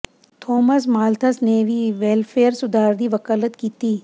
Thomas Malthus ਨੇ ਵੀ welfare ਸੁਧਾਰ ਦੀ ਵਕਾਲਤ ਕੀਤੀ